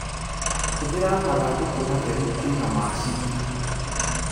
Hũthĩra mathandũkũ matheru kũiga macani.